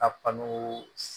A kanu